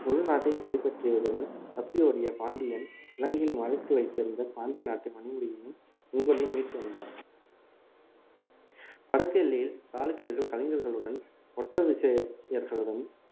முழு நாட்டையும் கைப்பற்றியதுடன் தப்பி ஓடிய பாண்டியன் இலங்கையில் மறைத்து வைத்திருந்த பாண்டிய நாட்டு மணிமுடியையும் செங்கோலையும் மீட்டு வந்தான் வடக்கு எல்லையில் சாளக்கியர்கள் கலிங்கர்களுடன் ஓட்ட விசய~யர்களுடனும்